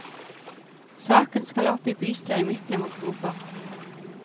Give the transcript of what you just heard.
Saken skal opp i bystyret i midten av oktober.